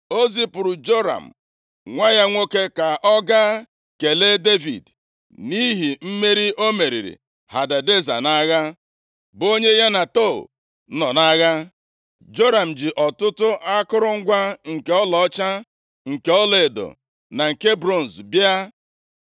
o zipụrụ Joram, nwa ya nwoke, ka ọ gaa kelee Devid, nʼihi mmeri o meriri Hadadeza nʼagha, bụ onye ya na Tou nọ nʼagha. Joram ji ọtụtụ akụrụngwa nke ọlaọcha, nke ọlaedo na nke bronz bịa.